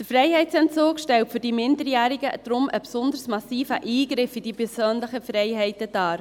Der Freiheitsentzug stellt für die Minderjährigen deshalb einen besonders massiven Eingriff in die persönlichen Freiheiten dar.